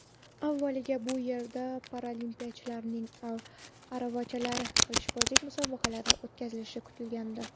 Avvaliga bu yerda paralimpiyachilarning aravachalardagi qilichbozlik musobaqalari o‘tkazilishi kutilgandi.